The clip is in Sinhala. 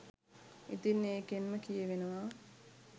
ඉතින් ඒකෙන්ම කියවෙනවා